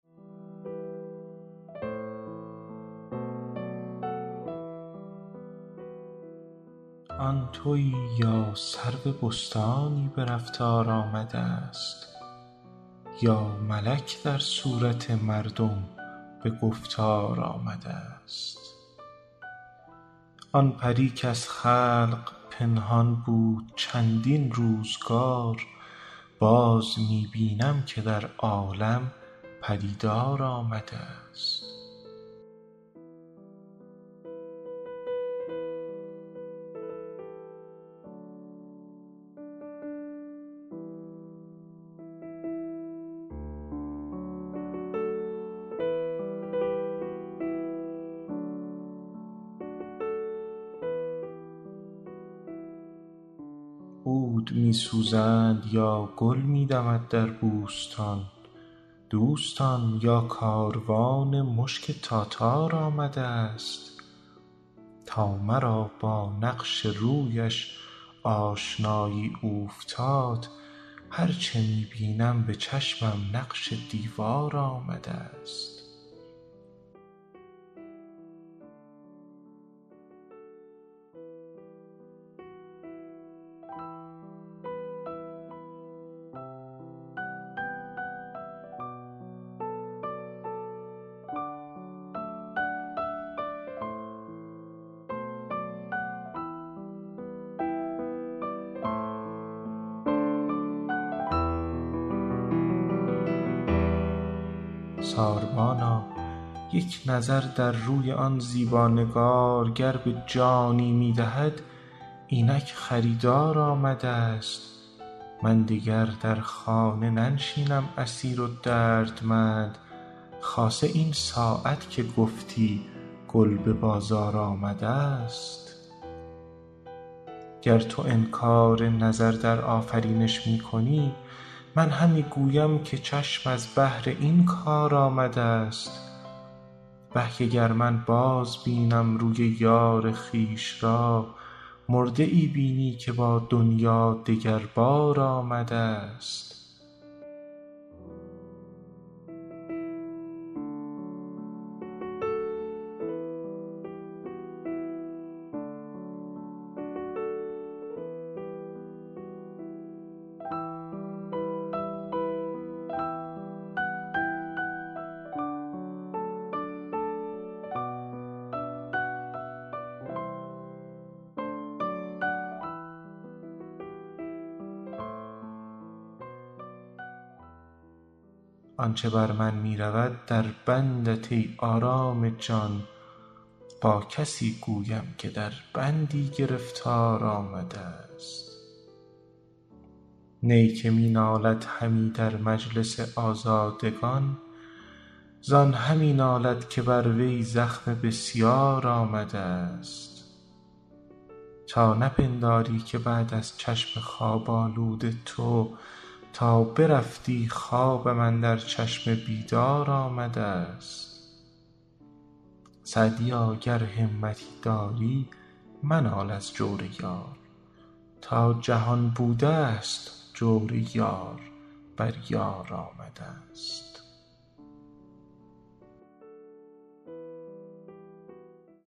آن تویی یا سرو بستانی به رفتار آمده ست یا ملک در صورت مردم به گفتار آمده ست آن پری کز خلق پنهان بود چندین روزگار باز می بینم که در عالم پدیدار آمده ست عود می سوزند یا گل می دمد در بوستان دوستان یا کاروان مشک تاتار آمده ست تا مرا با نقش رویش آشنایی اوفتاد هر چه می بینم به چشمم نقش دیوار آمده ست ساربانا یک نظر در روی آن زیبا نگار گر به جانی می دهد اینک خریدار آمده ست من دگر در خانه ننشینم اسیر و دردمند خاصه این ساعت که گفتی گل به بازار آمده ست گر تو انکار نظر در آفرینش می کنی من همی گویم که چشم از بهر این کار آمده ست وه که گر من بازبینم روی یار خویش را مرده ای بینی که با دنیا دگر بار آمده ست آن چه بر من می رود در بندت ای آرام جان با کسی گویم که در بندی گرفتار آمده ست نی که می نالد همی در مجلس آزادگان زان همی نالد که بر وی زخم بسیار آمده ست تا نپنداری که بعد از چشم خواب آلود تو تا برفتی خوابم اندر چشم بیدار آمده ست سعدیا گر همتی داری منال از جور یار تا جهان بوده ست جور یار بر یار آمده ست